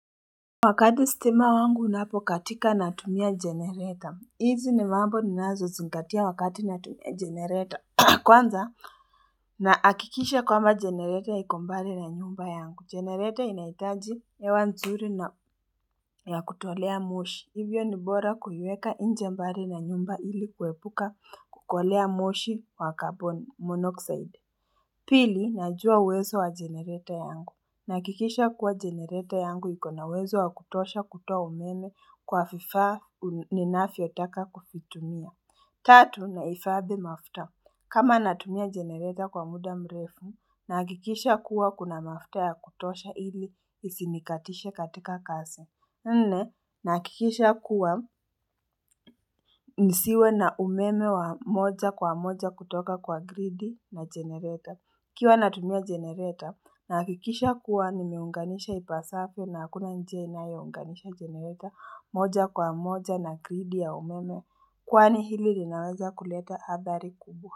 Wakati stima wangu unapokatika natumia jenereta hizi ni mambo ninazozingatia wakati natumia jenereta kwanza naakikisha kwamba jenereta iko mbali na nyumba yangu jenereta inahitaji hewa nzuri na ya kutolea moshi hivyo ni bora kuiweka nje mbali na nyumba ili kuepuka kukolea moshi wa carbon monoxide pili najua uwezo wa jenereta yangu Nahakikisha kuwa jenereta yangu iko na uwezo wa kutosha kutoa umeme kwa vifaa ninavyotaka kuvitumia tatu nahifadhi mafuta kama natumia jenereta kwa muda mrefu nahakikisha kuwa kuna mafuta ya kutosha ili isinikatishe katika kazi Nne nahakikisha kuwa nisiwe na umeme wa moja kwa moja kutoka kwa gridi na jenereta. Ikiwa natumia jenereta nahakikisha kuwa nimeunganisha ipasavyo na hakuna njia inayounganisha jenereta moja kwa moja na gridi ya umeme Kwani hili linaweza kuleta adhari kubwa.